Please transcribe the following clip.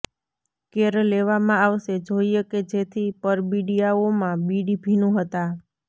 care લેવામાં આવશે જોઇએ કે જેથી પરબિડીયાઓમાં બીડી ભીનું હતા